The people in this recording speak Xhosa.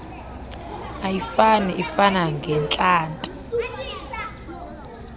ayifani ifana ngeentlanti